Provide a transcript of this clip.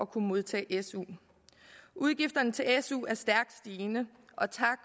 kunne modtage su udgifterne til su er stærkt stigende og tak